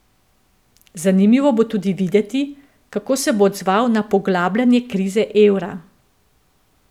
Zanimivo bo tudi videti, kako se bo odzval na poglabljanje krize evra.